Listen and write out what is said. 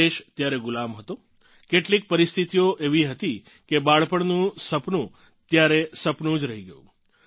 દેશ ત્યારે ગુલામ હતો કેટલીક પરિસ્થિતિઓ એવી હતી કે બાળપણનું સપનું ત્યારે સપનું જ રહી ગયું